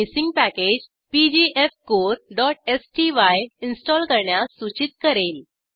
ती missing package pgfcoreस्टाय install करण्यास सूचित करेल